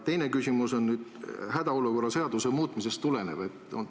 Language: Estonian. Teine küsimus on hädaolukorra seaduse muutmisest tulenev.